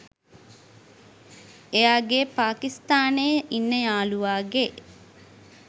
එයාගේ පාකිස්තානේ ඉන්න යාළුවගේ